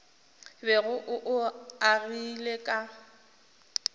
bego o o agile ka